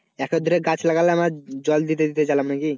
এক হাত দূরে গাছ লাগলাম আর জল দিতে দিতে গেলাম নাকি?